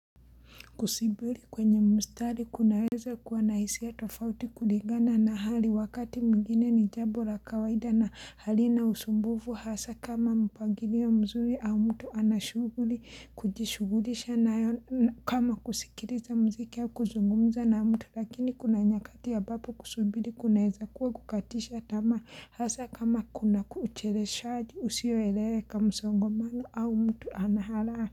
Kusibili kwenye mstari kunaweza kuwa na hisia tofauti kuligana na hali wakati mwingine ni jambo la kawaida na hali na usumbuvu hasa kama mpagilio mzuri au mtu anashughuli kujishughulisha nayo kama kusikiriza mziki au kuzungumza na mtu lakini kuna nyakati ambapi kusubiri kunaweza kuwa kukatisha tamaa hasa kama kuna kuchereshaaji usioeleweka msongomano au mtu anaharaa.